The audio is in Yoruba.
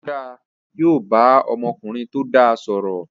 Ó dáa, yóò bá ọmọkùnrin tó dáa sọ̀rọ̀